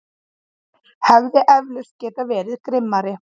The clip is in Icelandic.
Hefði eflaust getað verið grimmari.